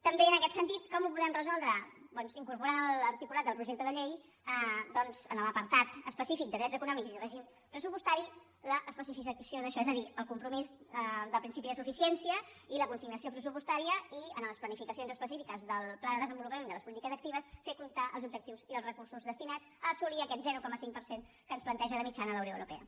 també en aquest sentit com ho podem resoldre doncs incorporant a l’articulat del projecte de llei a l’apartat específic de drets econòmics i règim pressupostari l’especificació d’això és a dir el compromís del principi de suficiència i la consignació pressupostària i en les planificacions específiques del pla de desenvolupament de les polítiques actives fer constar els objectius i els recursos destinats a assolir aquest zero coma cinc per cent que ens planteja de mitjana la unió europea